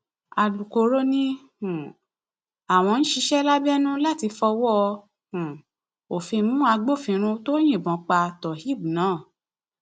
alukoro ni um àwọn ń ṣiṣẹ lábẹnú láti fọwọ um òfin mú agbófinró tó yìnbọn pa tohééb náà